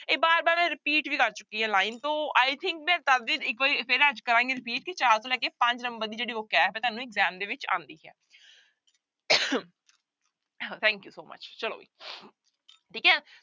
ਇਹ ਬਾਰ ਬਾਰ repeat ਵੀ ਕਰ ਚੁੱਕੀ ਹੈ line ਤੋ i think subject ਇੱਕ ਵਾਰੀ ਫਿਰ ਅੱਜ ਕਰਾਂਗੇ repeat ਕਿ ਚਾਰ ਤੋਂ ਲੈ ਕੇ ਪੰਜ number ਦੀ ਜਿਹੜੀ vocabulary ਹੈ ਤੁਹਾਨੂੰ exam ਦੇ ਵਿੱਚ ਆਉਂਦੀ ਹੈ thank you so much ਚਲੋ ਵੀ ਠੀਕ ਹੈ।